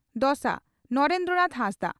ᱫᱚᱥᱟ (ᱱᱚᱨᱮᱱᱫᱨᱚ ᱱᱟᱛᱷ ᱦᱟᱸᱥᱫᱟ)